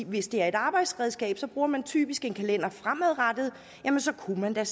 hvis det er et arbejdsredskab bruger man typisk en kalender fremadrettet jamen så kunne man da